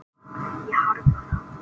Ég harma það.